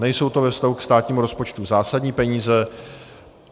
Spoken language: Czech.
Nejsou to ve vztahu ke státnímu rozpočtu zásadní peníze.